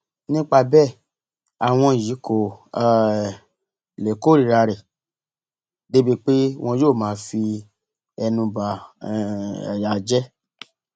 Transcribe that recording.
nípa bẹẹ àwọn yìí kò um lè kórìíra rẹ débìí pé wọn yóò máa fi ẹnu bà um á jẹ